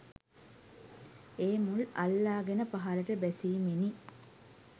ඒ මුල් අල්ලාගෙන පහළට බැසීමෙනි.